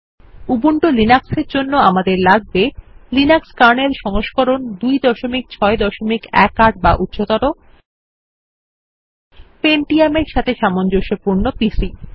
Ubuntu লিনাক্সের জন্য আমাদের লাগবে লিনাক্স কার্নেল সংস্করণ 2618 বা উচ্চতর পেন্টিয়াম এর সাথে সামঞ্জস্যপূর্ণ পিসি